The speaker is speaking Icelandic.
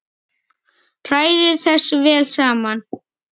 Hrærið þessu vel saman.